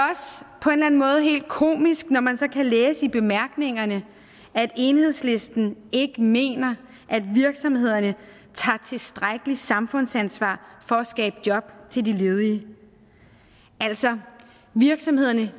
på en eller anden måde helt komisk når man så kan læse i bemærkningerne at enhedslisten ikke mener at virksomhederne tager tilstrækkeligt samfundsansvar for at skabe jobs til de ledige altså virksomhederne